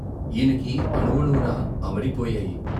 ఈయనకి అణువణువునా అమరిపోయాయి.